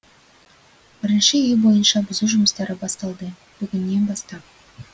бірінші үй бойынша бұзу жұмыстары басталды бүгіннен бастап